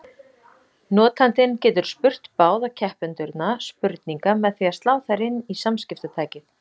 Notandinn getur spurt báða keppendurna spurninga með því að slá þær inn í samskiptatækið.